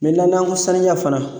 n'an ko saniya fana